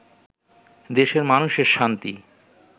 দেশের মানুষের শান্তি